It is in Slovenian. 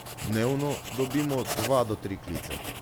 Dnevno dobimo dva do tri klice.